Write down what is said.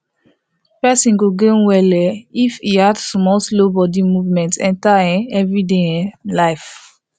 person go gain well um if e fit add small slow body movement enter um everyday um life